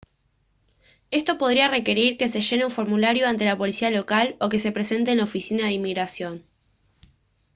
esto podría requerir que se llene un formulario ante la policía local o que se presente en la oficina de inmigración